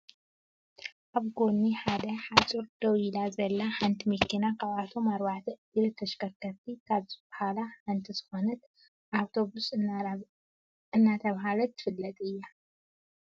ኣብጎኒ ሓደ ሓፆር ደው ኢላ ዘላ ሓንት መኪና ካብቶም ኣርባዕተ እግሪ ተሽከርከርቲ ካብ ዝብሃላ ሓንቲ ዝኮነት ኣቶቢስ እናረባህለ ትፍለጥ እያ።